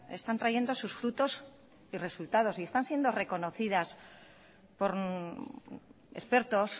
están trayendo sus frutos y resultados y están siendo reconocidas por expertos